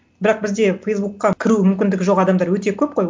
бірақ бізде фейсбукқа кіру мүмкіндігі жоқ адамдар өте көп қой